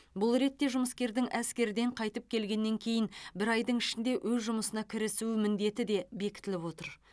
бұл ретте жұмыскердің әскерден қайтып келгеннен кейін бір айдың ішінде өз жұмысына кірісу міндеті де бекітіліп отыр